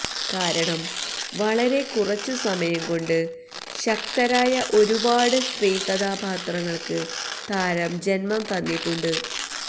കാരണം വളറെ കുറച്ചു സമയം കൊണ്ട് ശക്തരായ ഒരുപാട് സ്ത്രീകഥാപാത്രങ്ങൾക്ക് താരം ജന്മം തന്നിട്ടുണ്ട്